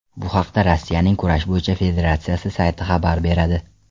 Bu haqda Rossiyaning kurash bo‘yicha federatsiyasi sayti xabar beradi.